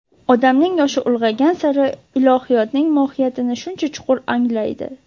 Odamning yoshi ulg‘aygan sari ilohiyotning mohiyatini shuncha chuqur anglaydi.